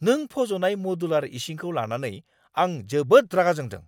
नों फज'नाय मदुलार इसिंखौ लानानै आं जोबोद रागा जोंदों।